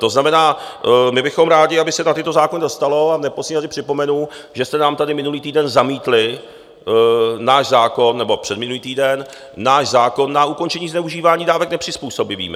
To znamená, my bychom rádi, aby se na tyto zákony dostalo, a v neposlední řadě připomenu, že jste nám tady minulý týden zamítli náš zákon - nebo předminulý týden - náš zákon na ukončení zneužívání dávek nepřizpůsobivými.